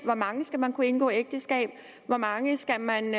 hvor mange skal man kunne indgå ægteskab hvor mange skal man